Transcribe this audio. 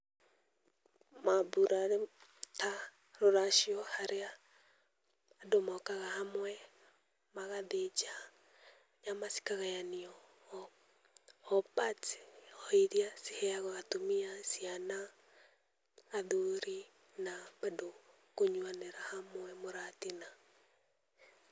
Maambura ta rũracio harĩa andũ mokaga hamwe magathĩnja nyama cikagayanio. O parts, he ĩria ci heyagwo atũmia, ciana, athuri na bado kũnyuanĩira hamwe mũratina.